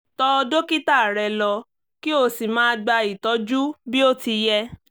tọ dókítà rẹ lọ kí o sì máa gba ìtọ́jú bí ó ti yẹ